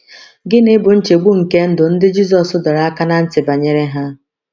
Gịnị bụ nchegbu nke ndụ ndị Jizọs dọrọ aka ná ntị banyere ha?